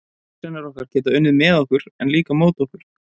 Hugsanir okkar geta unnið með okkur, en líka á móti okkur.